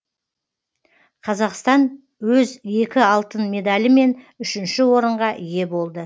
қазақстан өз екі алтын медалімен үшінші орынға ие болды